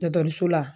Dɔkɔtɔrɔso la